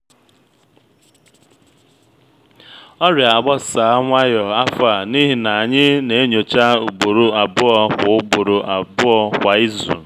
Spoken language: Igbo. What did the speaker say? ọrịa agbasa nwayọ afọ a n’ihi na anyị na-enyocha ugboro abụọ kwa ugboro abụọ kwa izu